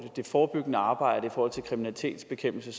det forebyggende arbejde i forhold til kriminalitetsbekæmpelse